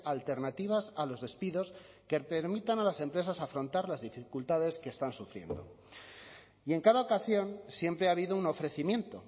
alternativas a los despidos que permitan a las empresas afrontar las dificultades que están sufriendo y en cada ocasión siempre ha habido un ofrecimiento